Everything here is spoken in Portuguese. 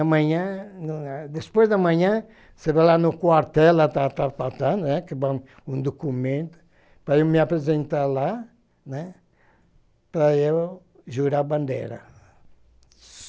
Amanhã, depois da manhã, você vai lá no quartel, lá tá, lá tá, lá tá, né, que vão um documento, para eu me apresentar lá, né, para eu jurar bandeira.